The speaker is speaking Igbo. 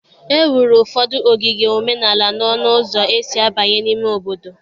E wuru ụfọdụ ogige omenala n'ọnụ ụzọ esi abanye n'ime obodo.